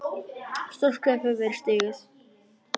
Stórt skref hefur verið stigið.